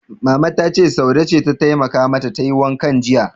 Mama ta ce, Saude ce ta taimaka mata tayi wankan jiya.